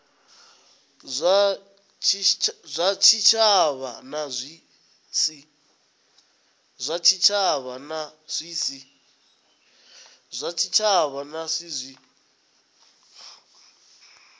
zwa tshitshavha na zwi si